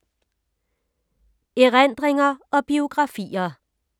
Erindringer og biografier